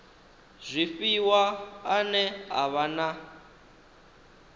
zwifhiwa ane a vha na